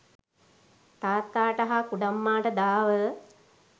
තාත්තාට හා කුඩම්මාට දාව